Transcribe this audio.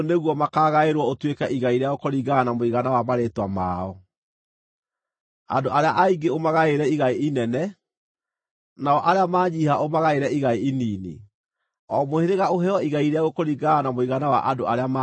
Andũ arĩa aingĩ ũmagaĩre igai inene, nao arĩa maanyiiha ũmagaĩre igai inini; o mũhĩrĩga ũheo igai rĩaguo kũringana na mũigana wa andũ arĩa maandĩkĩtwo.